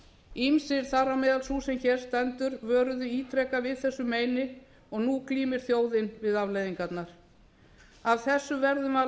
ýmsir þar á meðal sú sem hér stendur vöruðu ítrekað við þessu meini og nú glímir þjóðin við afleiðingarnar af þessu verðum við að